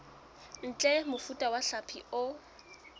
ntle mofuta wa hlapi o